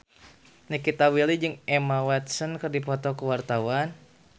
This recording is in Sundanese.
Nikita Willy jeung Emma Watson keur dipoto ku wartawan